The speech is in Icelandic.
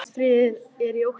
Haustfríið er í október.